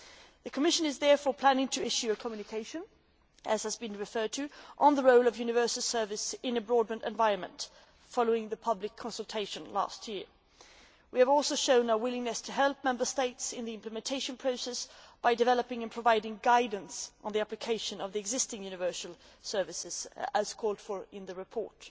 The Commission is therefore planning to issue a communication, as has been mentioned, on the role of universal service in a broadband environment following the public consultation last year. We have also shown our willingness to help Member States in the implementation process by developing and providing guidance on the application of the existing universal service rules, as called for in the report.